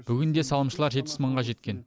бүгінде салымшылар жетпіс мыңға жеткен